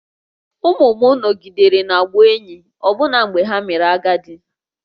Ụmụ m nọgidere na-abụ enyi ọbụna mgbe ha mere agadi